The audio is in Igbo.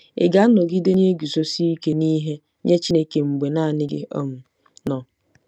Ị̀ ga-anọgide na-eguzosi ike n'ihe nye Chineke mgbe nanị gị um nọ?